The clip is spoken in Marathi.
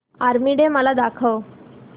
आर्मी डे मला दाखव